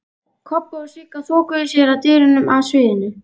Kobbi og Sigga þokuðu sér að dyrunum að sviðinu.